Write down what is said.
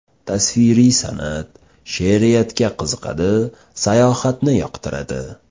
Tasviriy san’at, she’riyatga qiziqadi, sayohatni yoqtiradi.